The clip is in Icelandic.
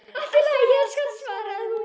Allt í lagi, elskan, svaraði hún.